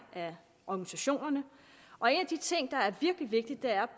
af organisationerne og en af de ting der er virkelig vigtigt er